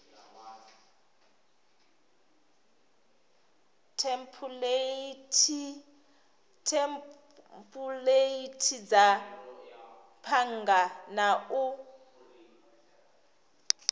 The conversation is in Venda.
thempuleithi dza bannga na u